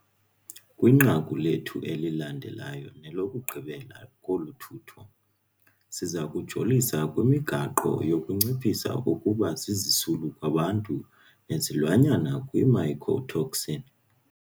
Kwinqaku lethu elilandelayo nelokugqibela kolu thotho, siza kujolisa kwimigaqo yokunciphisa ukuba zizisulu kwabantu nezilwanyana kwii-mycotoxin.